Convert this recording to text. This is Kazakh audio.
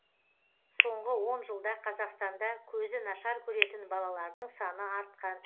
сонғы он жылда қазақстанда көзі нашар көретін балалардың саны артқан